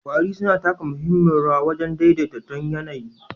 Ƙwari suna taka muhimmiyar rawa wajen daidai ton yAnayi